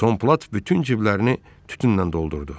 Tom Plat bütün ciblərini tütünnən doldurdu.